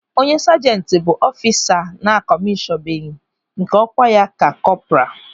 Onye sajenti bụ ọfisa a na-akọmishọnbeghi nke ọkwa ya ka kọpra.